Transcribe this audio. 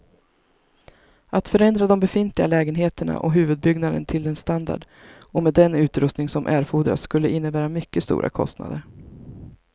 Att förändra de befintliga lägenheterna och huvudbyggnaden till den standard och med den utrustning som erfordras skulle innebära mycket stora kostnader.